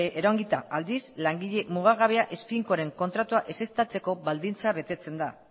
iraungita aldiz langile mugagabea ez finkoaren kontratua ezeztatzeko baldintza betetzen da